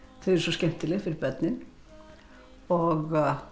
eru svo skemmtileg fyrir börnin og